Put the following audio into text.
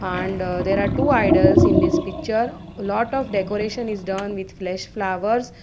and uh there are two idols in this picture lot of decoration is done with flesh flowers.